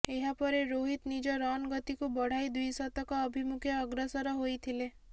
ଏହା ପରେ ରୋହିତ୍ ନିଜ ରନ୍ ଗତିକୁ ବଢ଼ାଇ ଦ୍ୱିଶତକ ଅଭିମୁଖେ ଅଗ୍ରସର ହୋଇଥିଲେ